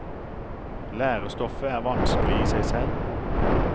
Lærestoffet er vanskelig i seg selv.